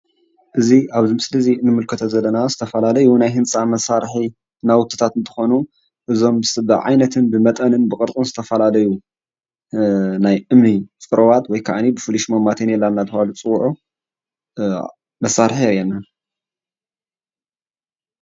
እዚ ኣብዚ ምስሊ እንምልከቶ ዘለና ዝተፈላለዩ ናይ ህንፃ መሳርሒ ናዉትታት እንትኾኑ እዞም ብዓይነቶም፣ ብመጠኖም፣ ብቕርፆም ዝተፈላለዩ ናይ እምኒ ፅሩባት ወይ ክዓኒ ብፍሉይ ሽሞም ማተኔላ እናተብሃሉ ዝፅዉዑ መሳርሒ የርኤና፡፡